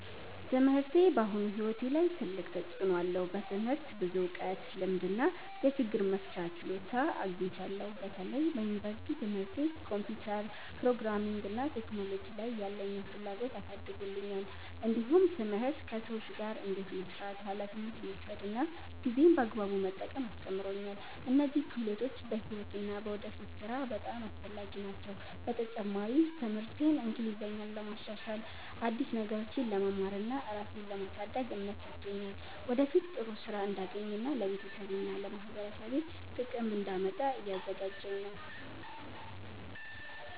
ትምህርቴ በአሁኑ ሕይወቴ ላይ ትልቅ ተፅዕኖ አለው። በትምህርት ብዙ እውቀት፣ ልምድ እና የችግር መፍቻ ችሎታ አግኝቻለሁ። በተለይ በዩኒቨርሲቲ ትምህርቴ ኮምፒውተር፣ ፕሮግራሚንግ እና ቴክኖሎጂ ላይ ያለኝን ፍላጎት አሳድጎልኛል። እንዲሁም ትምህርት ከሰዎች ጋር እንዴት መስራት፣ ኃላፊነት መውሰድ እና ጊዜን በአግባቡ መጠቀም አስተምሮኛል። እነዚህ ክህሎቶች በሕይወት እና በወደፊት ሥራ በጣም አስፈላጊ ናቸው። በተጨማሪም ትምህርቴ እንግሊዝኛን ለማሻሻል፣ አዲስ ነገሮችን ለመማር እና ራሴን ለማሳደግ እምነት ሰጥቶኛል። ወደፊት ጥሩ ሥራ እንዳገኝ እና ለቤተሰቤና ለማህበረሰቤ ጥቅም እንዳመጣ እያዘጋጀኝ ነው።